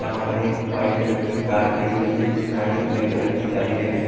जहां पर एक वाइट कलर की कार खड़ी हुई है जिसमें आगे ब्लैक कलर की जाली लगी--